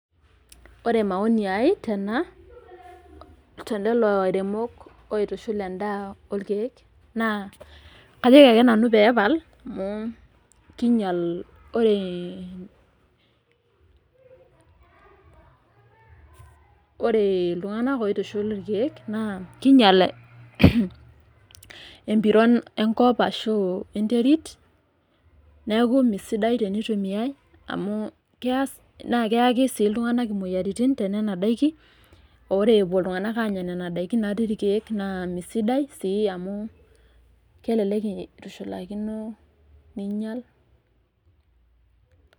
Ore maoni ai tena, telelo airemok oitushul endaa orkeek, naa kajoki ake nanu pepal, amu kinyal ore, ore iltung'anak oitushul irkeek naa kinyal empiron enkop ashu enterit, neeku mesidai tenitumiai, amu keas na keyaki si iltung'anak imoyiaritin tenena daiki, ore epuo iltung'anak anya nena daiki natii irkeek, naa mesidai si amu kelelek itushulakino ninyal.